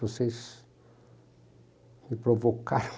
Vocês me provocaram